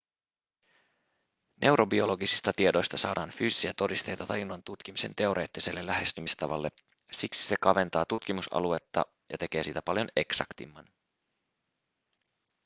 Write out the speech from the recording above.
neurobiologisista tiedoista saadaan fyysisiä todisteita tajunnan tutkimisen teoreettiselle lähestymistavalle siksi se kaventaa tutkimusaluetta ja tekee siitä paljon eksaktimman